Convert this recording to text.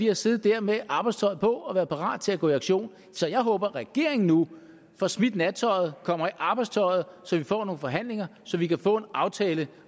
har siddet der med arbejdstøjet på og været parat til at gå i aktion så jeg håber at regeringen nu får smidt nattøjet og kommer i arbejdstøjet så vi får nogle forhandlinger og så vi kan få en aftale